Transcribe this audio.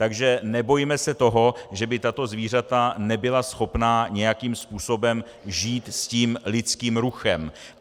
Takže nebojme se toho, že by tato zvířata nebyla schopná nějakým způsobem žít s tím lidským ruchem.